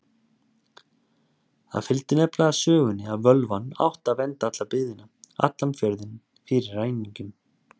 Það fylgdi nefnilega sögunni að völvan átti að vernda alla byggðina, allan fjörðinn, fyrir ræningjum.